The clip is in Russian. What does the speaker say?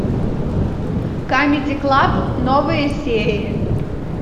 камеди клаб новые серии